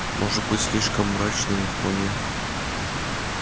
может быть слишком мрачный но вполне